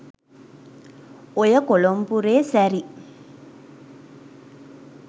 ඔය කොලොම්පුරේ සැරි